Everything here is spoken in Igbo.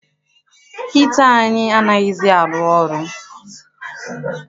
Hita anyị anaghịzi arụ ọrụ.